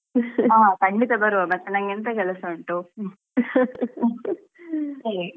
ಹಾ ಖಂಡಿತ ಬರುವ ಮತ್ತೆ ನಂಗೆ ಎಂತ ಕೆಲ್ಸ ಉಂಟು.